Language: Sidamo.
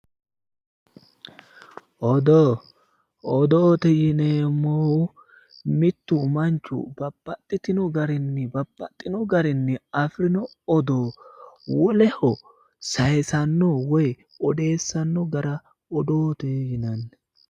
Odoo, odoote yineemohu mittu manchu babbaxitino garinni babbaxinno garinni afiranno odoo woleho sayiisano woy odeessanno gara odoote yineemo.